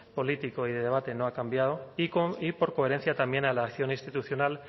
político y de debate no ha cambiado y por coherencia también a la acción institucional